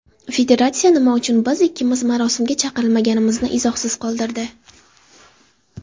Federatsiya nima uchun biz ikkimiz marosimga chaqirilmaganimizni izohsiz qoldirdi.